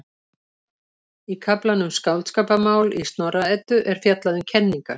Í kaflanum Skáldskaparmál í Snorra-Eddu er fjallað um kenningar.